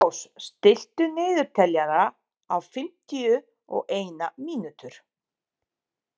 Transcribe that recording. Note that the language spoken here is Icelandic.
Heiðrós, stilltu niðurteljara á fimmtíu og eina mínútur.